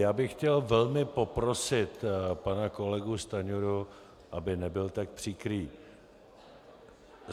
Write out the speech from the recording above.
Já bych chtěl velmi poprosit pana kolegu Stanjuru, aby nebyl tak příkrý.